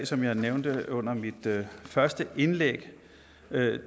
som jeg nævnte under mit første indlæg vil jeg